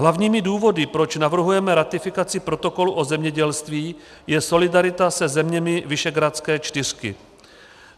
Hlavními důvody, proč navrhujeme ratifikaci protokolu o zemědělství, je solidarita se zeměmi visegrádské čtyřky.